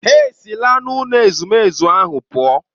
Ha esila n'ụlọ ezumezu ahụ pụọ.